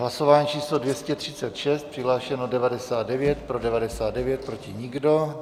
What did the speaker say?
Hlasování číslo 236, přihlášeno 99, pro 99, proti nikdo.